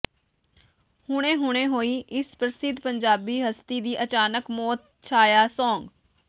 ਹੁਣੇ ਹੁਣੇ ਹੋਈ ਇਸ ਪ੍ਰਸਿੱਧ ਪੰਜਾਬੀ ਹਸਤੀ ਦੀ ਅਚਾਨਕ ਮੌਤ ਛਾਇਆ ਸੋਗ